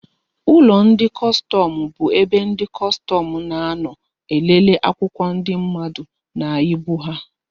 Ụlọ ndị kọstọmụ bu ebe ndị kọstọmụ na-anọ elele akwụkwọ ndị mmadụ na ibu ha